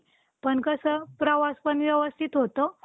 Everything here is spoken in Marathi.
पण कसं प्रवास पण व्यवस्थित होतो .